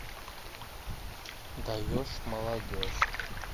даешь молодежь